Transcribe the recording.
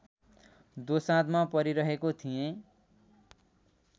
दोसाँधमा परिरहेको थिएँ